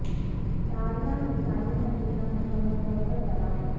داریا میں پانی کا نظام مکمل طور پر تباہ ہے